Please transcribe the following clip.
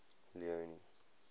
leone